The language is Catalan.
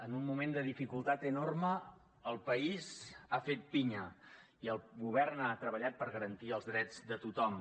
en un moment de dificultat enorme el país ha fet pinya i el govern ha treballat per garantir els drets de tothom